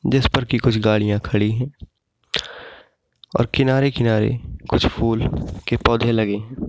जिस पर कि कुछ गाड़ियां खड़ी है और किनारे-किनारे कुछ फूल के पौधे लगे हैं।